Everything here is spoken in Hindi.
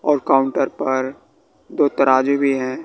और काउंटर पर दो तराजू भी है।